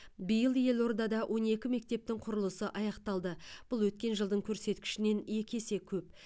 биыл елордада он екі мектептің құрылысы аяқталды бұл өткен жылдың көрсеткішінен екі есе көп